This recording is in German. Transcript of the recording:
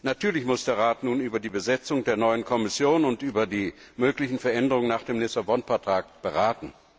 Natürlich muss der Rat nun über die Besetzung der neuen Kommission und über die möglichen Veränderungen nach dem Lissabon Vertrag beraten.